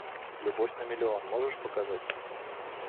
любовь на миллион можешь показать